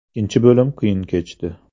Ikkinchi bo‘lim qiyin kechdi.